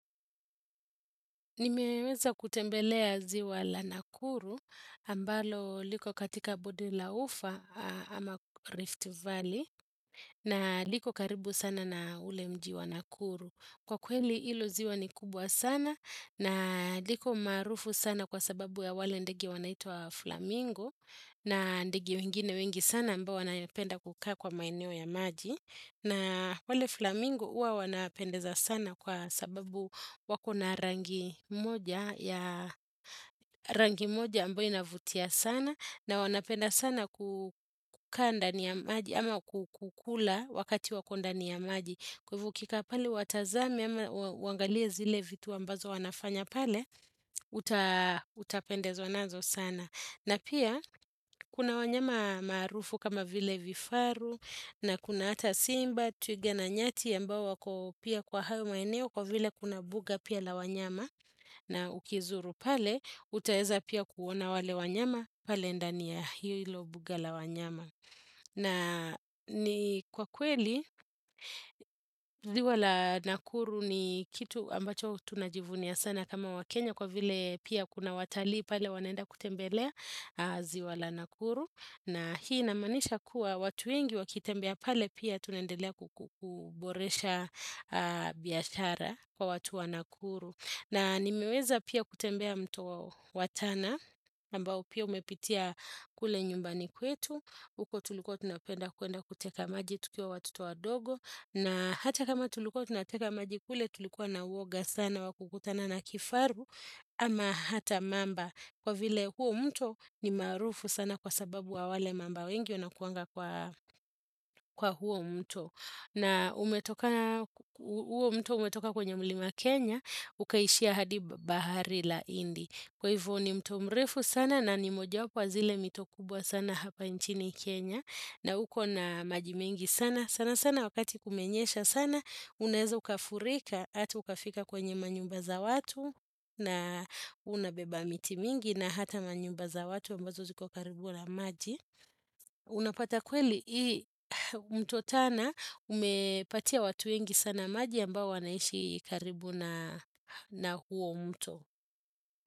Nimeweza kutembelea ziwa la Nakuru ambalo liko katika Bodila Ufa ama Rift Valley na liko karibu sana na ule mjiwa Nakuru. Kwa kweli ilo ziwa ni kubwa sana na liko marufu sana kwa sababu ya wale ndegi wanaitua Flamingo na ndegi wengine wengi sana mbao wanapenda kukaa kwa maineo ya maji. Na wale flamingo uwa wanapendeza sana kwa sababu wako na rangi moja ya rangi moja ambu inavutia sana na wanapenda sana kukanda ni ya maji ama kukula wakati wakonda ni ya maji. Kwevukika pale watazami ama wangalie zile vitu ambazo wanafanya pale utapendezo anazo sana. Na pia, kuna wanyama marufu kama vile vifaru na kuna hata simba, tuige na nyati ya mbao wako pia kwa hao maeneo kwa vile kuna buga pia la wanyama na ukizuru pale, utaeza pia kuona wale wanyama, pale ndania hilo buga la wanyama. Na ni kwa kweli, ziwa la nakuru ni kitu ambacho tunajivunia sana kama wakenya kwa vile pia kuna watali pale wanaenda kutembelea ziwa la nakuru. Na hii namanisha kuwa watu ingi wakitembea pale pia tunendelea kuboresha biashara kwa watu wa nakuru. Na nimeweza pia kutembea mto watana, mbao pia umepitia kule nyumbani kwetu, uko tuliko tunapenda kuenda kuteka maji tukiwa watoto wa dogo, na hata kama tuliko tunateka maji kule tulikuwa na uoga sana wakukutana na kifaru, ama hata mamba kwa vile huo mto ni marufu sana kwa sababu wa wale mamba wengi una kuanga kwa huo mto. Na umetoka, huo mto umetoka kwenye mlima Kenya, ukaishia hadi bahari la indi. Kwa hivyo ni mto mrefu sana na ni moja wapwa zile mto kubwa sana hapa nchini Kenya. Na huko na majimengi sana, sana sana wakati kumenyesha sana. Unaeza ukafurika, hatu ukafika kwenye manyumba za watu na unabeba miti mingi na hata manyumba za watu ambazo ziko karibu na maji. Unapata kweli hii mto tana umepatia watu yengi sana maji ambao wanaishi karibu na huo mto.